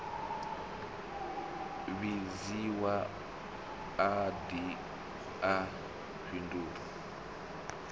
vhidziwe a de a fhindule